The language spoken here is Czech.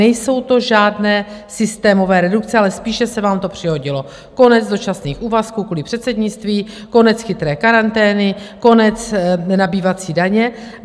Nejsou to žádné systémové redukce, ale spíše se vám to přihodilo - konec dočasných úvazků kvůli předsednictví, konec chytré karantény, konec nabývací daně.